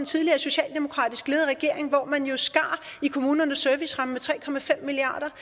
tidligere socialdemokratisk ledede regering hvor man jo skar i kommunernes serviceramme med tre milliard